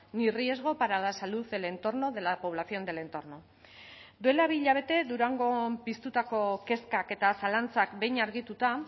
ni riesgo para la salud del entorno de la población del entorno duela bi hilabete durangon piztutako kezkak eta zalantzak behin argituta